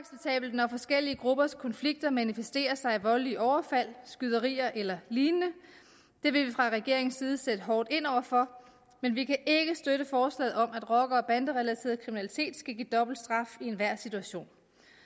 når forskellige gruppers konflikter manifesterer sig i voldelige overfald skyderier eller lignende det vil vi fra regeringens side sætte hårdt ind over for men vi kan ikke støtte forslaget om at rocker og banderelateret kriminalitet skal give dobbelt straf i enhver situation